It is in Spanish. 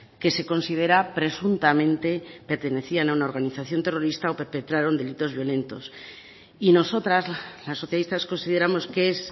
que se considera presuntamente pertenecían a una organización terrorista o perpetraron delitos violentos y nosotras las socialistas consideramos que es